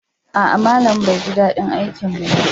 A'a, malamin bai ji daɗin aikinmu ba.